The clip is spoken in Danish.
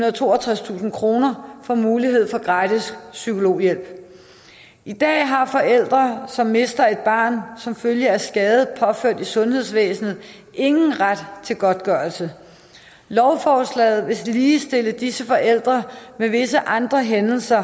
og toogtredstusind kroner får mulighed for gratis psykologhjælp i dag har forældre som mister et barn som følge af skade påført i sundhedsvæsenet ingen ret til godtgørelse lovforslaget vil ligestille disse forældre med visse andre hændelser